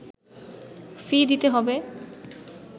ফি দিতে হবে